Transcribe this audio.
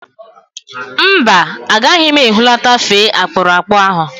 Mba, agaghị m ehulata fee akpụrụakpụ ahụ